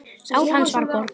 Sál hans var borgið.